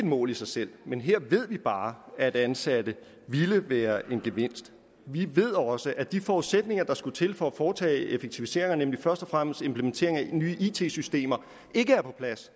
mål i sig selv men her ved vi bare at ansatte ville være en gevinst vi ved også at de forudsætninger der skulle til for at foretage effektiviseringer nemlig først og fremmest en implementering af nye it systemer ikke er på plads